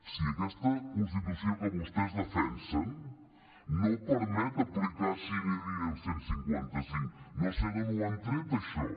sí aquesta constitució que vostès defensen no permet aplicar sine die el cent i cinquanta cinc no sé d’on ho han tret això